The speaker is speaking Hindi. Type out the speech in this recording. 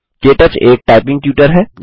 के टच एक टाइपिंग ट्यूटर है